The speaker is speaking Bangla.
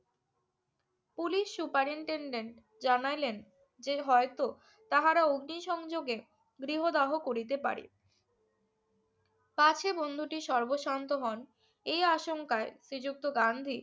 পুলিশ superintendent জানাইলেন, যে হয়ত তাহারা অগ্নিসংযোগে গৃহদাহ করিতে পারে। পাছে বন্ধুটি সর্বশান্ত হন এই আশঙ্কায় শ্রীযুক্ত গান্ধী